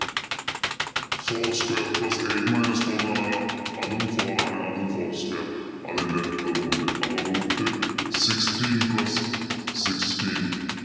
four square plus eight minus four എന്ന പറഞ്ഞു കഴിഞ്ഞാലോ അതും four ആണ് അതും four square അതിന്‍റെ root അപ്പൊ root sixteen plus sixteen